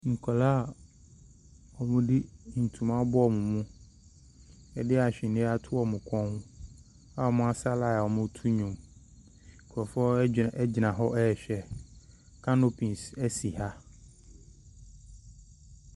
Nkwadaa a wɔde ntoma abɔ wɔn mu de ahweneɛ ato wɔn kɔn a wɔasa line a wɔreto nnwom. Nkurɔfoɔ adwa gyina hɔ rehwɛ. Canopies si ha.